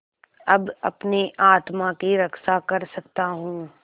अब अपनी आत्मा की रक्षा कर सकता हूँ